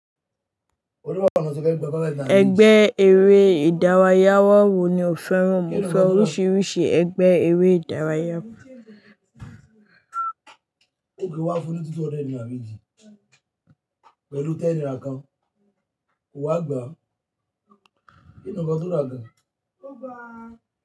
Ẹgbẹ́ eré ìdárayá wọ́ wò ni o fẹ́ràn? Mo fẹ́ oríṣiríṣi ẹgbẹ́ eré ìdárayá.